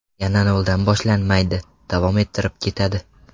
Yana noldan boshlanmaydi, davom ettirib ketadi.